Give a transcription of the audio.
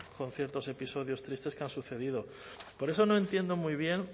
con ciertos episodios tristes que han sucedido por eso no entiendo muy bien